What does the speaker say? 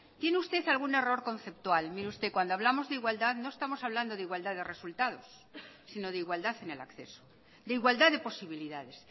tiene usted algún error conceptual mire usted cuando hablamos de igualdad no estamos hablando de igualdad de resultados sino de igualdad en el acceso de igualdad de posibilidades